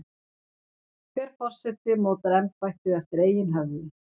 Hver forseti mótar embættið eftir eigin höfði.